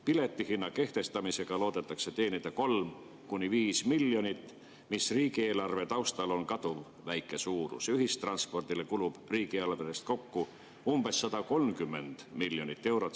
Piletihinna kehtestamisega loodetakse teenida 3–5 miljonit, mis riigieelarve taustal on kaduvväike, ühistranspordile kulub riigieelarvest kokku umbes 130 miljonit eurot.